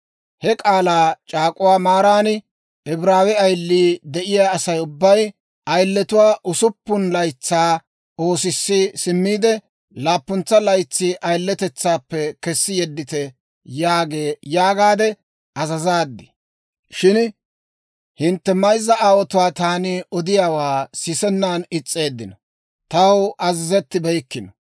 He k'aalaa c'aak'uwaa maaran, ‹Ibraawe ayilii de'iyaa Asay ubbay, ayiletuwaa usuppun laytsaa oosissi simmiide, laappuntsa laytsi ayiletetsaappe kessi yeddite› yaagaade azazaad. Shin hintte mayzza aawotuu taani odiyaawaa sisennan is's'eeddino taw azazettibeykkino.